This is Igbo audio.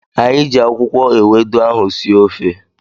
Anyị ji akwụkwọ ewedu ahụ sie ofe